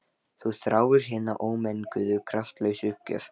Þú þráir hina ómenguðu kraftlausu uppgjöf.